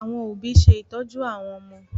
Àwọn òbí ṣe ìtọ́jú àwọn ọmọ